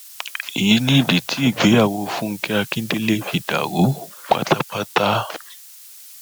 èyí nìdí tí ìgbéyàwó fúnkẹ akíndélé fi dàrú pátápátá